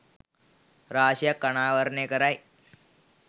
රාශියක් අනාවරණය කරයි.